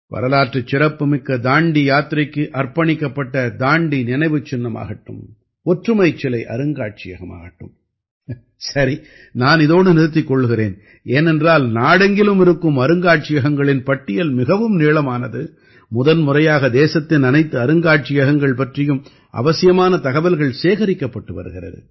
வரலாற்றுச் சிறப்பு மிக்க தாண்டி யாத்திரைக்கு அர்ப்பணிக்கப்பட்ட தண்டி நினைவுச் சின்னமாகட்டும் ஒற்றுமைச் சிலை அருங்காட்சியகமாகட்டும் சரி நான் இதோடு நிறுத்திக் கொள்கிறேன் ஏனென்றால் நாடெங்கிலும் இருக்கும் அருங்காட்சியகங்களின் பட்டியல் மிகவும் நீளமானது முதன்முறையாக தேசத்தின் அனைத்து அருங்காட்சியகங்கள் பற்றியும் அவசியமான தகவல்கள் சேகரிக்கப்பட்டு வருகிறது